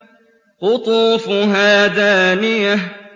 قُطُوفُهَا دَانِيَةٌ